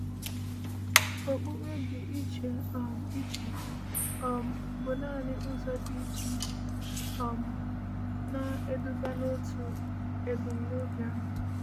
“Okpukpe dị iche um iche um bụ naanị ụzọ dị iche iche um na-eduga n’otu ebumnobi ahụ.”